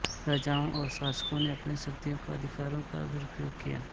राजाओं और शासकों ने अपनी शक्तियों अधिकारों का दुरुपयोग किया